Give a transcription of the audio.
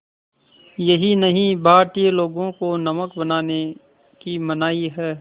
यही नहीं भारतीय लोगों को नमक बनाने की मनाही है